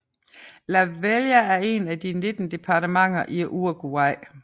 Lavalleja er et af de 19 departementer i Uruguay